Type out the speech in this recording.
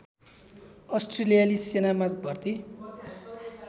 अस्ट्रेलियाली सेनामा भर्ती